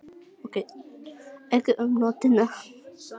Menn fóru um þessa brú frá Asíu til Ameríku fyrir tugþúsundum ára.